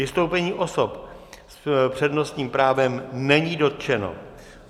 Vystoupení osob s přednostním právem není dotčeno.